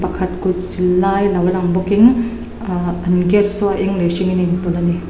khat kutsil lai lo lang bawkin aahh an gate saw a eng leh hringin a inpawlh a ni.